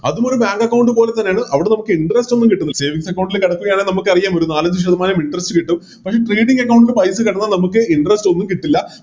അതുമൊരു Bank account പോലെത്തന്നെയാണ് അവിടെ നമുക്ക് Interest ഒന്നും കിട്ടുന്നില്ല Savings account ല് നമുക്കറിയാം ഒരു നാലഞ്ച് ശതമാനം Interest കിട്ടുംപക്ഷെ Account ൽ പൈസ വന്നാൽ നമുക്ക് Interest ഒന്നും കിട്ടില്ല